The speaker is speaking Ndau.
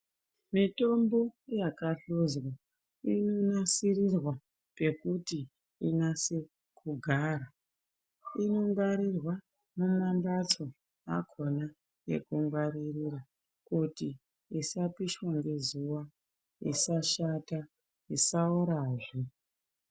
Mitombo yakahluzwa inonasirirwa pekuti inase kugara. Inongwarirwa mumamhatso akhona ekungwaririra kuti isapishwa ngezuwa, isashata isaorazve.